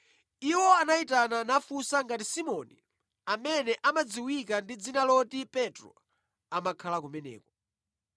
Iwo anayitana nafunsa ngati Simoni amene amadziwika ndi dzina loti Petro amakhala kumeneko.